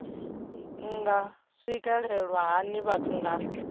nga swikelelwa hani vhathu nga